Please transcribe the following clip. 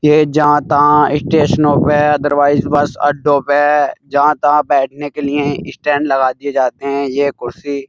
ये जहाँ-तहाँ स्टेशनो पे अदरवाइस बस अड्डों पे जहाँ-तहाँ बैठने के लिए स्टैंड लगा दिए जाते हैं। ये कुर्सी --